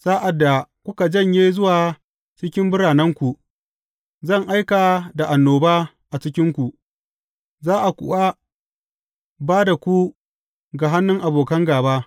Sa’ad da kuka janye zuwa cikin biranenku, zan aika da annoba a cikinku, za a kuwa ba da ku ga hannun abokan gāba.